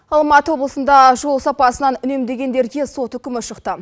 алматы облысында жол сапасынан үнемдегендерге сот үкімі шықты